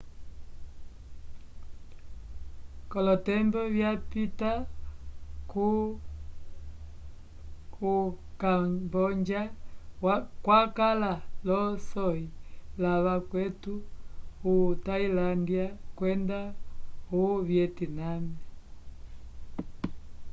kolotembo ya pita o camboja wakala lo soyi la vakweto o tailandia kwenda o vietname